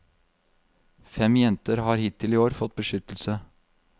Fem jenter har hittil i år fått beskyttelse.